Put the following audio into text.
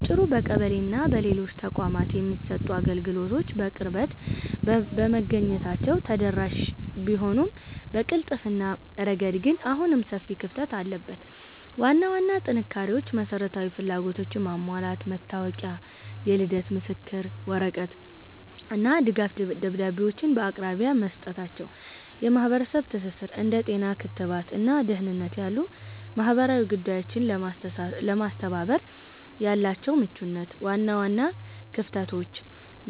ባጭሩ፣ በቀበሌና በሌሎች ተቋማት የሚሰጡ አገልግሎቶች በቅርበት በመገኘታቸው ተደራሽ ቢሆኑም፣ በቅልጥፍና ረገድ ግን አሁንም ሰፊ ክፍተት አለበት። ዋና ዋና ጥንካሬዎች መሰረታዊ ፍላጎቶችን ማሟላት፦ መታወቂያ፣ የልደት ምስክር ወረቀት እና ድጋፍ ደብዳቤዎችን በአቅራቢያ መስጠታቸው። የማህበረሰብ ትስስር፦ እንደ ጤና (ክትባት) እና ደህንነት ያሉ ማህበራዊ ጉዳዮችን ለማስተባበር ያላቸው ምቹነት። ዋና ዋና ክፍተቶች